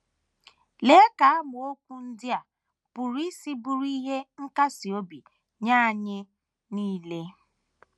Lee ka amaokwu ndị a pụrụ isi bụrụ ihe nkasi obi nye anyị nile!